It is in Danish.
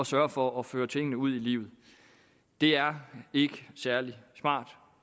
sørge for at føre tingene ud i livet det er ikke særlig smart